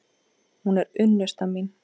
Hún er unnusta mín!